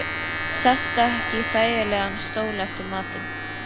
Sestu ekki í þægilegan stól eftir matinn.